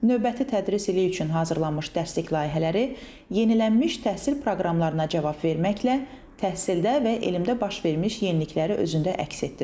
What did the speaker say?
Növbəti tədris ili üçün hazırlanmış dəstək layihələri yenilənmiş təhsil proqramlarına cavab verməklə təhsildə və elmdə baş vermiş yenilikləri özündə əks etdirir.